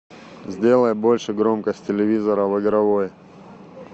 сделай больше громкость телевизора в игровой